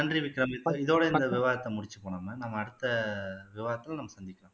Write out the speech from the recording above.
நன்றி விக்ரம் இதோட இந்த விவாதத்தை முடிச்சுப்போம் நம்ம அடுத்த விவாதத்துல நம்ம சந்திக்கலாம்